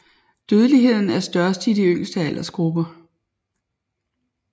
Dødeligheden er størst i de yngste aldersgrupper